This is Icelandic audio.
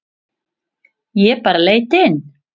Ég bara leit inn.